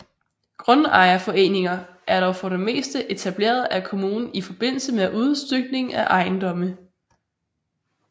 Grundejerforeninger er dog for det meste etableret af kommunen i forbindelse med udstykning af ejendomme